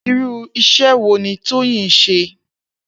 Irú is̩é̩ wo ni Tóyìn ń s̩e?